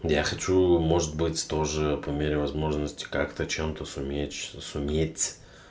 я хочу может быть тоже по мере возможности как-то чем-то суметь что суметь